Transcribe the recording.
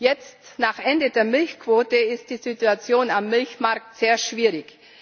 Jetzt, nach Ende der Milchquote, ist die Situation am Milchmarkt sehr schwierig.